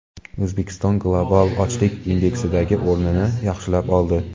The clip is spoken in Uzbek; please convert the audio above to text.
O‘zbekiston Global ochlik indeksidagi o‘rnini yaxshilab oldi.